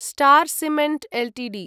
star Cement Ltd